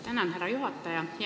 Tänan, härra juhataja!